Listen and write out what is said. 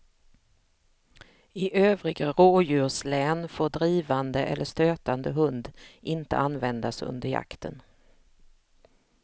I övriga rådjurslän får drivande eller stötande hund inte användas under jakten.